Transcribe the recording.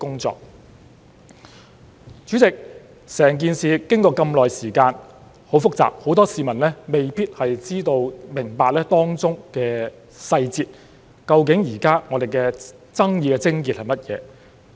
主席，整件事經過這麼久，很複雜，很多市民未必知道及明白當中細節，究竟現在我們爭議的癥結是甚麼。